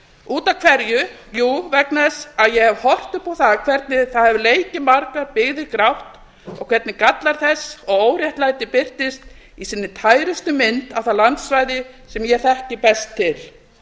út af hverju jú vegna þess að ég hef horft upp á það hvernig það hefur leikið margar byggðir grátt og hvernig gallar þess og óréttlæti birtist í sinni tærustu mynd á það landsvæði sem ég þekki best til